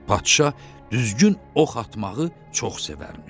Padşah düzgün ox atmağı çox sevərmiş.